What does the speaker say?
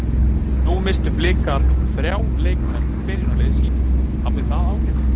Nú misstu Blikar þrjá leikmenn úr byrjunarliði sínu, hafði það áhrif?